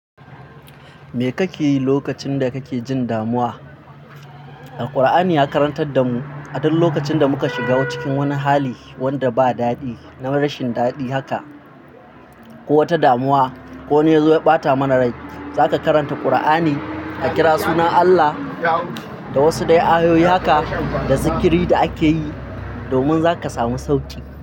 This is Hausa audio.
Me kake yi lokacin da kake jin damuwa? Alqur'ani ya karantar da mu aduk wani lokacin da muka shiga cikin wani hali wanda ba dadi na rashin dadi haka, ko wata damuwa, ko wani yazo ya bata mana rai, zaka karanta Kur'ani, a kira sunan Allah da wasu dai ayoyi haka da zikiri da ake yi, domin za ka samu sauki.